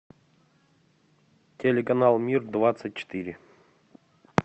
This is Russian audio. телеканал мир двадцать четыре